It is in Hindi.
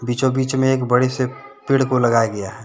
बीचों बीच में एक बड़े से पेड़ को लगाया गया है।